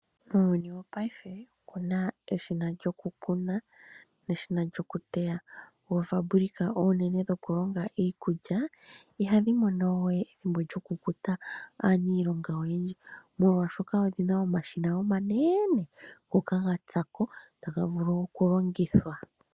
Muuyuni wopaife omuna eshina lyokukuna, neshina lyokuteya. Oofabulika oonene dhokulonga iikulya, ihadhi mono we ethimbo lyokukuta aanilonga oyendji, molwashoka odhina omashina omanene, ngoka gatsako taga vulu okulongithwa.